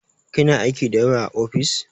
Kina aiki da yawa a ofis?